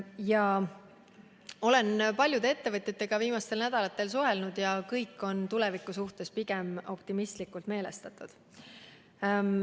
Ma olen paljude ettevõtjatega viimastel nädalatel suhelnud ja nad kõik on tuleviku suhtes pigem optimistlikult meelestatud.